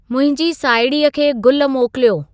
मुंहिंजी साहिड़ीअ खे गुल मोकिलियो